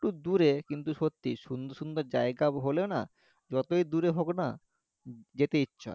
একটু দূরে কিন্তু সত্যি সুন্দর সুন্দর জায়গা হলে না যতই দূরে হোক না যেতে ইচ্ছে হয়